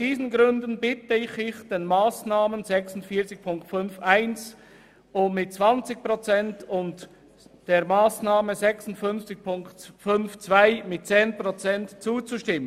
Deshalb bitte ich Sie, bei den zusätzlichen Einsparungen bei den Massnahmen 46.5.1 und 46.5.2 den 20 respektive 10 Prozent zuzustimmen.